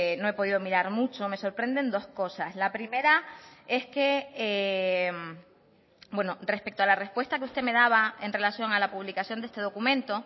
no he podido mirar mucho me sorprenden dos cosas la primera es que respecto a la respuesta que usted me daba en relación a la publicación de este documento